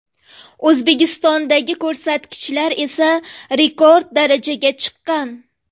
O‘zbekistondagi ko‘rsatkichlar esa rekord darajaga chiqqan.